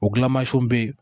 O gilamansiw bɛ yen